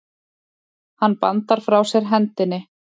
Hann bandar frá sér hendinni.